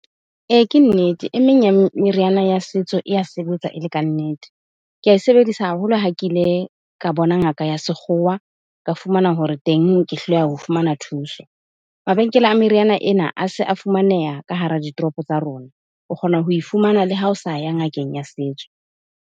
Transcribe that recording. Ee, ke nnete. Emeng ya meriana ya setso e ya sebetsa e le ka nnete. ke a e sebedisa haholo ha ke ile ka bona ngaka ya sekgowa, ka fumana hore teng ke hloleha ho fumana thuso. Mabenkele a meriana ena a se a fumaneha ka hara ditoropo tsa rona. O kgona ho e fumana le ha o sa ya ngakeng ya setso.